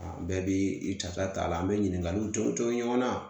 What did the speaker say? Bɛɛ bi i ta ca taa la an be ɲininkaliw jɔ cɔ ɲɔgɔn na